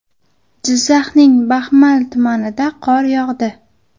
Jizzaxning Baxmal tumanida qor yog‘di.